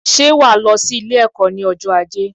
Ṣé wàá lọ sí Ilé ẹ̀kọ́ ní ọjọ́ ajé